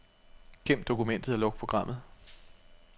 Gem dokumentet og luk programmet.